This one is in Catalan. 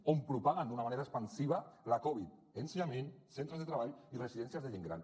on propaguen d’una manera expansiva la covid ensenyament centres de treball i residències de gent gran